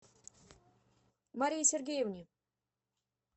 марии сергеевне